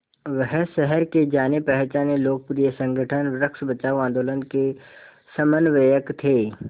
वह शहर के जानेपहचाने लोकप्रिय संगठन वृक्ष बचाओ आंदोलन के समन्वयक थे